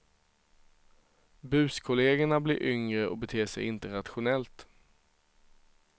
Buskollegerna blir yngre och beter sig inte rationellt.